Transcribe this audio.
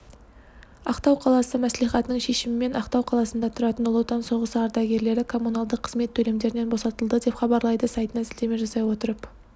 ақтау қаласы мәслихатының шешімімен ақтау қаласында тұратын ұлы отан соғысы ардагерлері коммуналдық қызмет төлемдерінен босатылды деп хабарлайды сайтына сілтеме жасай отырып